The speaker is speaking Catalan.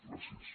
gràcies